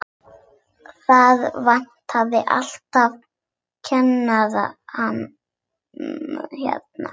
Það vantar alltaf kennara hérna.